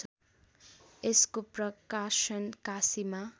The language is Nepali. यसको प्रकाशन काशीमा